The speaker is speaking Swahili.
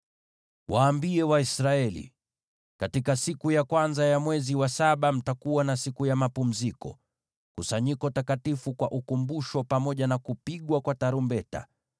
“Waambie Waisraeli: ‘Katika siku ya kwanza ya mwezi wa saba mtakuwa na siku ya mapumziko, kusanyiko takatifu la ukumbusho litakaloadhimishwa kwa kupiga tarumbeta.